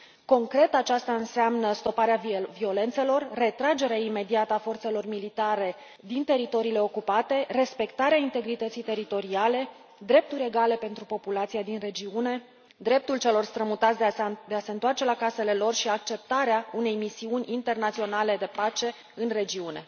Concret, aceasta înseamnă stoparea violențelor, retragerea imediată a forțelor militare din teritoriile ocupate, respectarea integrității teritoriale, drepturi egale pentru populația din regiune, dreptul celor strămutați de a se întoarce la casele lor și acceptarea unei misiuni internaționale de pace în regiune.